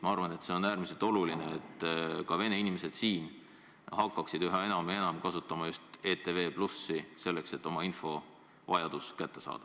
Ma arvan, et see on äärmiselt oluline, et meie vene inimesed hakkaksid üha enam kasutama just ETV+, selleks et endale vajalik info kätte saada.